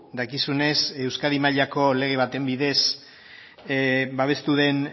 dakizunez euskadiko mailako lege baten bidez babestu den